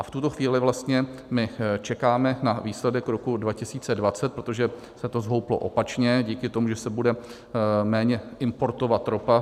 A v tuto chvíli vlastně my čekáme na výsledek roku 2020, protože se to zhouplo opačně díky tomu, že se bude méně importovat ropa.